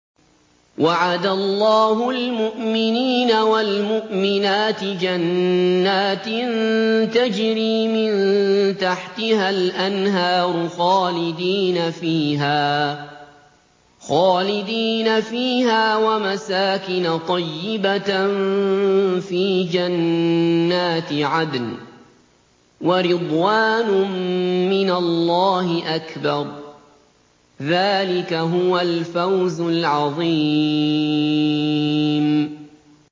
وَعَدَ اللَّهُ الْمُؤْمِنِينَ وَالْمُؤْمِنَاتِ جَنَّاتٍ تَجْرِي مِن تَحْتِهَا الْأَنْهَارُ خَالِدِينَ فِيهَا وَمَسَاكِنَ طَيِّبَةً فِي جَنَّاتِ عَدْنٍ ۚ وَرِضْوَانٌ مِّنَ اللَّهِ أَكْبَرُ ۚ ذَٰلِكَ هُوَ الْفَوْزُ الْعَظِيمُ